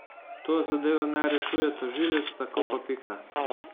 To zadevo naj rešuje tožilec, tako pa pika.